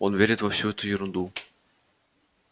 он верит во всю эту ерунду